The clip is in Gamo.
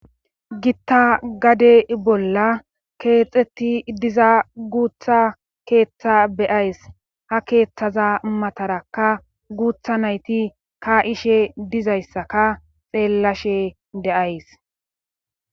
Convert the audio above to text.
gitta gade bolla keexetti diza guutha keeththa be7ays ha keeththaza mataraka guutha nayti ka7ishe dizayssaka xeellashe de7ays